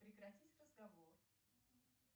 прекратить разговор